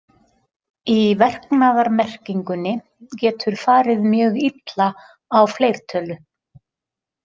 Í verknaðarmerkingunni getur farið mjög illa á fleirtölu.